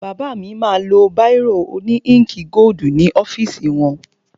Bàbá mi ma lo báìrò òní íǹkì gódù ní ọ́fìsì wọn.